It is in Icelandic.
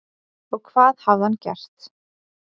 Og hvað hafði hann gert?